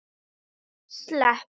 Rætt um OR í borgarstjórn